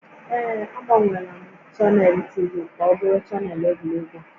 Ee, agbanweela m chanel TV ka ọ bụrụ chanel egwuregwu